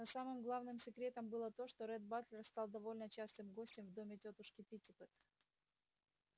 но самым главным секретом было то что ретт батлер стал довольно частым гостем в доме тётушки питтипэт